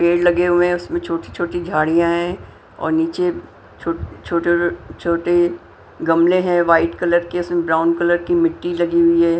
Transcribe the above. पेड़ लगे हुए हैं उसमें छोटी-छोटी झाड़ियां हैं और नीचे छो छोटे छोटे गमले हैं वाइट कलर के उसमें ब्राउन कलर की मिट्टी लगी हुई हैं।